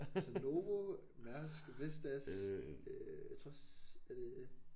Altså Novo Mærsk Vestas øh jeg tror også er det